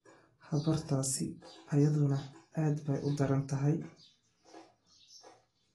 Habartaasi iyaduna aad bay u daran tahay.